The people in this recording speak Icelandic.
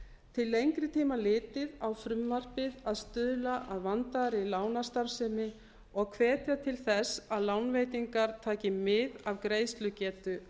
til lengri tíma litið á frumvarpið að stuðla að vandaðri lánastarfsemi og hvetja til þess að lánveitingar taki mið af greiðslugetu